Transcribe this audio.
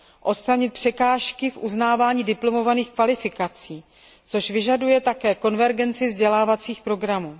odstranit překážky v uznávání diplomových kvalifikací, což vyžaduje také konvergenci vzdělávacích programů.